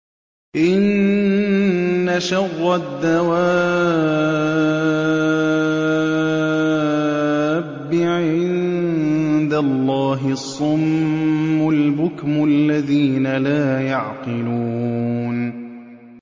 ۞ إِنَّ شَرَّ الدَّوَابِّ عِندَ اللَّهِ الصُّمُّ الْبُكْمُ الَّذِينَ لَا يَعْقِلُونَ